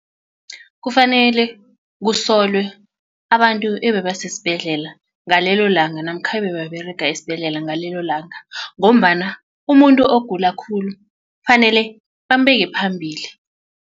Kufanele kusolwe abantu ebebasesibhedlela ngalelo langa namkha ebebaberega esibhedlela ngalelo langa ngombana umuntu ogula khulu kufanele bambeke phambili.